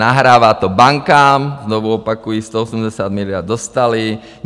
Nahrává to bankám, znovu opakuji, 180 miliard dostaly.